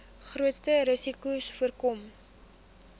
grootste risikos voorkom